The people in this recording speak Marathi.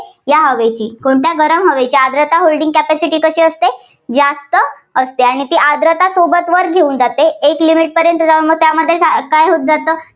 या हवेची, कोणत्या गरम हवेची आर्द्रता holding capacity कशी असते, जास्त असते. आणि ती आर्द्रता सोबत वर घेऊन जाते. एक limit पर्यंत जाऊन त्यामध्ये काय होत जातं?